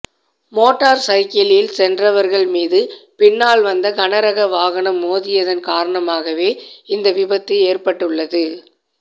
motor சைக்கிளில் சென்றவர்கள் மீது பின்னால் வந்த கனரக வாகனம் மோதியதன் காரணமாகவே இந்த விபத்து ஏற்பட்டுள்ளது